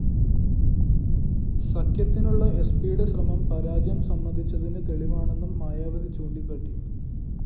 സഖ്യത്തിനുള്ള എസ്പിയുടെ ശ്രമം പരാജയം സമ്മതിച്ചതിന് തെളിവാണെന്നും മായാവതി ചൂണ്ടിക്കാട്ടി